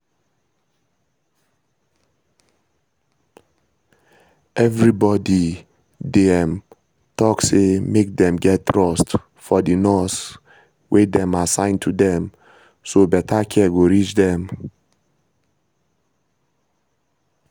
everybody dey um talk say make dem get trust for the nurse wey dem assign to dem so better care go reach dem